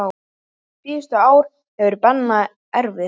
Síðustu ár voru Benna erfið.